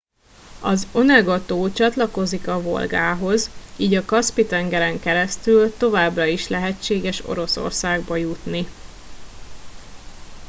az onega tó csatlakozik a volgához így a kaszpi tengeren keresztül továbbra is lehetséges oroszországba jutni